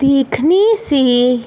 देखने से